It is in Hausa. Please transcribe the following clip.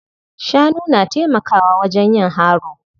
Shanu na taimakawa wajen yin haro.